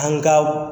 An ka